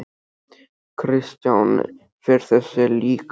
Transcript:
Kristján: Fer þessi líka?